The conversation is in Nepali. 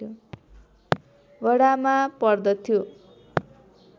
वडामा पर्दथ्यो